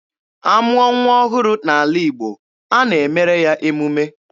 A mụọ nwa ọhụrụ n'ala Igbo, a na-emere ya emume.